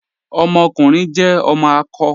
Ọmọkùnrin jẹ ọmọ akọ.